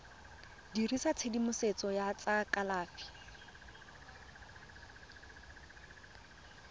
dirisa tshedimosetso ya tsa kalafi